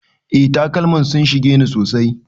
Eh takalman sun shige ni sosai.